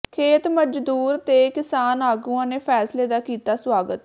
ਖੇਤ ਮਜ਼ਦੂਰ ਤੇ ਕਿਸਾਨ ਆਗੂਆਂ ਨੇ ਫੈਸਲੇ ਦਾ ਕੀਤਾ ਸਵਾਗਤ